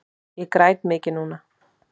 Ég græt mikið núna.